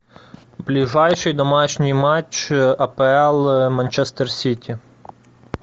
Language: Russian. ближайший домашний матч апл манчестер сити